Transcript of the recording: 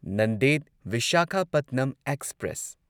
Nanded Visakhapatnam express